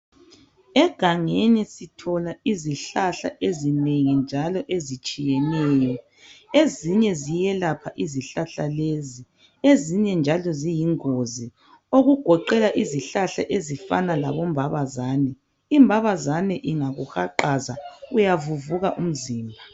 Egangeni sithola izihlahla ezinengi njalo ezitshiyeneyo ezinye ziyelapha izihlahla lezi ezinye njalo ziyingozi okugoqela izihlahla ezifana labombabazane. Imbabazane ingakuhaqaza uyavuvuka umzimba.